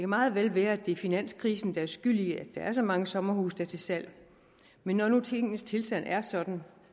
meget vel være at det er finanskrisen der er skyld i at der er så mange sommerhuse til salg men når nu tingenes tilstand er sådan